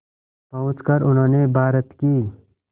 पहुंचकर उन्होंने भारत की